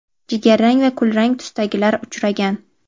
jigarrang va kulrang tusdagilari uchragan.